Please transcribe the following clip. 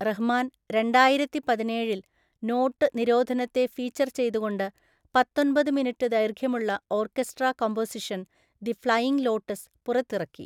റഹ്മാൻ രണ്ടായിരത്തിപതിനേഴില്‍ നോട്ട് നിരോധനത്തെ ഫീച്ചർ ചെയ്തുകൊണ്ട് പത്തൊന്‍പത് മിനിറ്റ് ദൈർഘ്യമുള്ള orchestra composition the flying lotus പുറത്തിറക്കി.